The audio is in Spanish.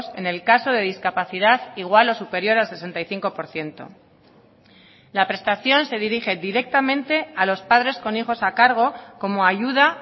en el caso de discapacidad igual o superior al sesenta y cinco por ciento la prestación se dirige directamente a los padres con hijos a cargo como ayuda